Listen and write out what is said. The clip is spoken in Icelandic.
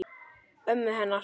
Ömmu hennar?